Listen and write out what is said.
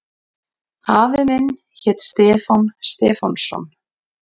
Afi minn hét Stefán Stefánsson.